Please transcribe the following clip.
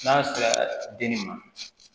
N'a sera den nin ma